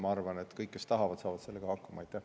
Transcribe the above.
Ma arvan, et kõik, kes tahavad, saavad sellega hakkama.